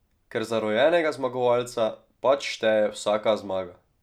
Ker za rojenega zmagovalca pač šteje vsaka zmaga.